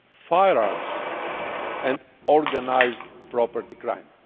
firearms and organised property crime.